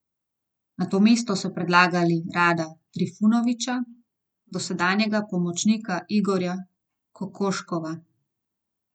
Na to mesto so predlagali Rada Trifunovića, dosedanjega pomočnika Igorja Kokoškova.